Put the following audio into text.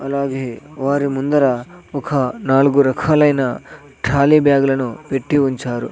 అలాగే వారి ముందర ఒక నాలుగు రకాలైన కాళీ బ్యాగులను పెట్టి ఉంచారు.